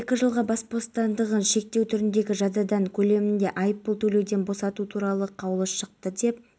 жаратылып миллиард теңге үнемделді дейді айта кетейік былтыр артық шығындар азайтылып әлеуметтік секторға басымдық берілді